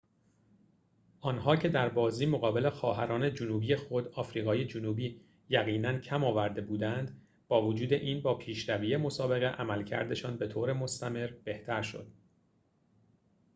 آنها که در بازی مقابل خواهران جنوبی خود آفریقای جنوبی یقیناً کم آورده بودند با وجود این با پیشروی مسابقه عملکردشان به‌طور مستمر بهتر شد